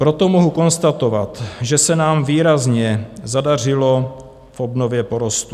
Proto mohu konstatovat, že se nám výrazně zadařilo v obnově porostů.